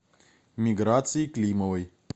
миграцией климовой